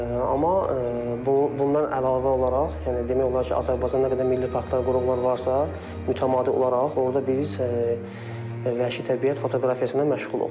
Amma bundan əlavə olaraq, yəni demək olar ki, Azərbaycanda nə qədər milli parklar, qoruqlar varsa, mütəmadi olaraq orda biz vəhşi təbiət fotoqrafiyası ilə məşğuluq.